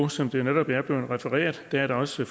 som det netop er blevet refereret er der også